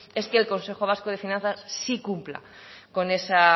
es que el consejo vasco de finanzas sí cumpla con ese